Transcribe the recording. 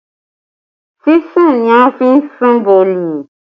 Sísun ni a ń sun boolì